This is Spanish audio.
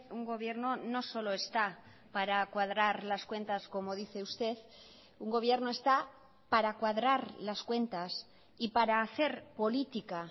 un gobierno no solo está para cuadrar las cuentas como dice usted un gobierno está para cuadrar las cuentas y para hacer política